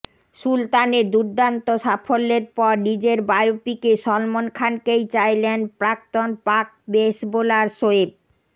সুলতানের দুর্দান্ত সাফল্যের পর নিজের বায়োপিকে সলমন খানকেই চাইলেন প্রাক্তন পাক পেস বোলার শোয়েব